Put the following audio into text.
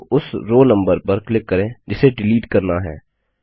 या तो उस रो नम्बर पर क्लिक करें जिसे डिलीट करना है